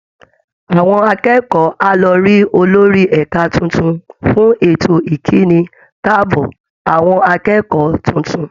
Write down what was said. Àwọn akẹ́kọ̀ọ́ á lọ rí olórí ẹ̀ka tuntun fún ètò ìkíni káàbọ̀ àwọn akẹ́kọ̀ọ́ tuntun